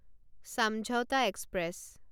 Samjhauta express